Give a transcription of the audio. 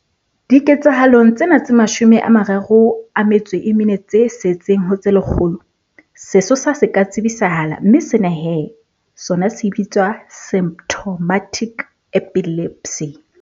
Diketsahalong tsena tse 34 tse setseng ho tse lekgolo, sesosa se ka tsebisahala mme sena he sona se bitswa symptomatic epilepsy.